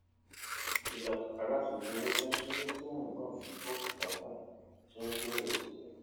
ilàkàkà àti fi owó táṣéré tí mò ń gbà fi gbó bùkátà ti n kó ìrẹwẹsì bá mi